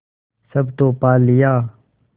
सब तो पा लिया